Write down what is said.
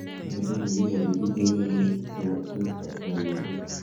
Age tugul nekikochin kit neiyoni nebo tekisto eng konyoiset.